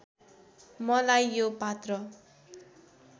मलाई यो पात्र